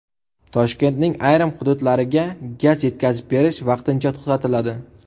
Toshkentning ayrim hududlariga gaz yetkazib berish vaqtincha to‘xtatiladi.